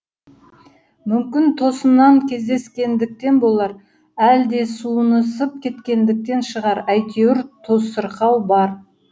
мүмкін тосынан кездескендіктен болар әлде суынысып кеткендіктен шығар әйтеуір тосырқау бар